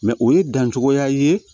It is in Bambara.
Mɛ o ye dancogoya ye